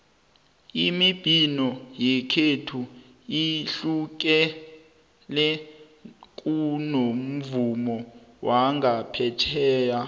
imibhino yekhethu ihlukile kunomvumo wangaphetjheya